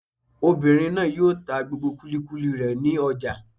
Obìnrin náà yóò ta gbogbo kúlíkúlí rẹ̀ ní ọjà